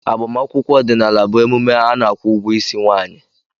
Agbamakwụkwọ ọdịnala bụ emume a na-akwụ ụgwọ Ịsị nwanyi.